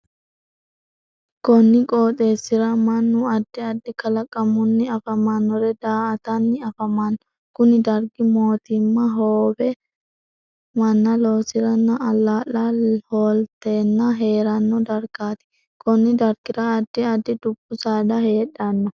Konni qooxeesira mannu addi addi kalaqamunni afamanore daa'atanni afamano. Kunni dargi mootimma hoobee manna loosiranna alaa'la hoolteenna heerano dargaati. Konni dargira addi addi dubu saada heedhano.